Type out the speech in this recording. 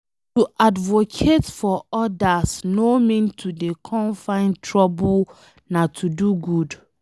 To advocate for odas no mean to dey come find trouble nah to do good